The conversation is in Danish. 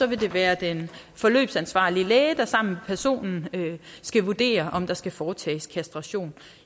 vil det være den forløbsansvarlige læge der sammen personen skal vurdere om der skal foretages kastration